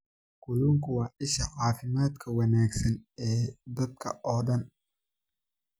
Kalluunku waa isha caafimaadka wanaagsan ee dadka oo dhan.